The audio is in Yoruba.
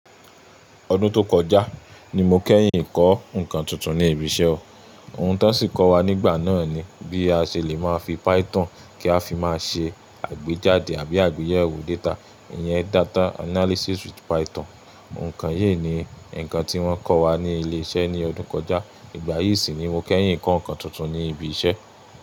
Ọdún tó kọjá ni mo kẹ́yìn ń kọ́ nǹkan tuntun ní ibi iṣẹ́ o. Ohun tó sì kọ́ wa nígbà náà ni bí a ṣe lè máa fi Python kí a fi máa ṣe àgbéjáde àbí àgbéyẹ̀wò data, ìyẹn data analysis with Python. Òǹkà yìí ni ǹkan tí wọ́n kọ́ wa ní ilé iṣẹ́ ní ọdún tó kọjá. Ìgbà yìí sì ni mo kẹ́yìn ń kọ́ nǹkan tuntun ní ibi iṣẹ́